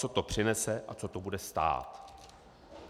Co to přinese a co to bude stát?